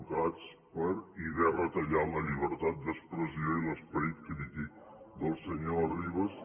del cads i haver retallat la llibertat d’expressió i l’esperit crític del senyor arribas